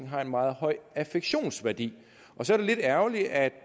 har en meget høj affektionsværdi og så er det lidt ærgerligt at